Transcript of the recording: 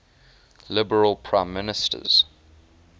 liberal prime minister